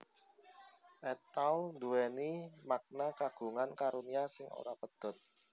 At Tawl nduwèni makna Kagungan karunia sing ora pedhot